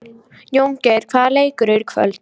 Jóngeir, hvaða leikir eru í kvöld?